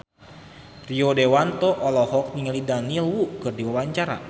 Rio Dewanto olohok ningali Daniel Wu keur diwawancara